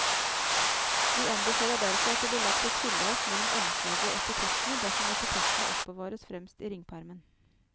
Vi anbefaler derfor at det blir lagt et skilleark mellom omslaget og etikettene dersom etikettene oppbevares fremst i ringpermen.